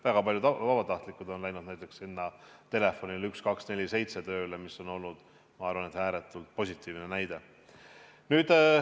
Väga paljud vabatahtlikud on läinud näiteks vastama telefonile 1247, mis on olnud, ma arvan, ääretult positiivne näide.